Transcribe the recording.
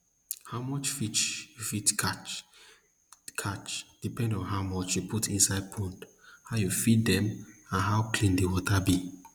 how much fish you fit catch catch depend on how much you put inside pond how you feed dem and how clean di water be